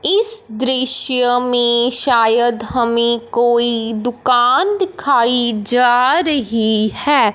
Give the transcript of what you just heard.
इस दृश्य में शायद हमें कोई दुकान दिखाई जा रही है।